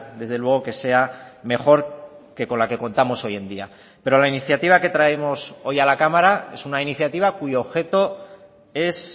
desde luego que sea mejor que con la que contamos hoy en día pero la iniciativa que traemos hoy a la cámara es una iniciativa cuyo objeto es